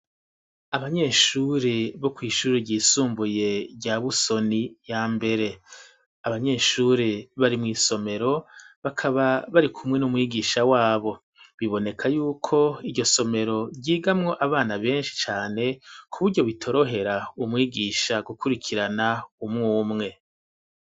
Abanyeshuri bo kw'ishuri ryisumbuye rya Busoni ya mbere. Abanyeshuri bari mw'isomero, bakaba barikumwe n'umwigisha wabo. Biboneka yuko iryo somero ryigamwo abana benshi cane, kuburyo bitorohera umwigisha gukurikirana umwe umwe.